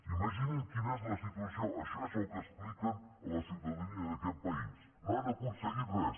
imaginin quina és la situació això és el que expliquen a la ciutadania d’aquest país i no han aconseguit res